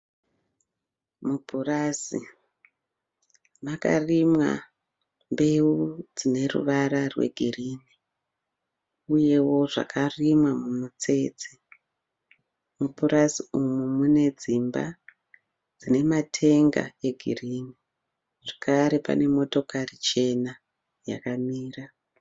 Mupurazi makarimwa mbeu dzine ruvara rwe girini uyeo zvakarimwa mumutsetse. Mupurazi umu mune dzimba dzine matenga e girini zvekare pane motokari chena yakamira.